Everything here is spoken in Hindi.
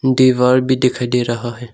दीवार भी दिखाई दे रहा है।